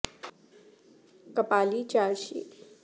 Kapali Carsi میں فروخت کردہ سامان حیرت انگیز طور پر متنوع ہیں